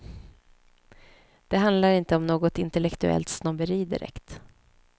Det handlar inte om något intellektuellt snobberi direkt.